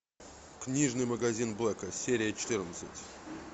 книжный магазин блэка серия четырнадцать